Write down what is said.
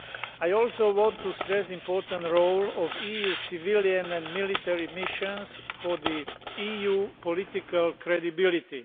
I also want to stress the important role of EU civilian and military missions for the EU's political credibility.